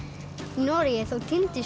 Noregi þá týndist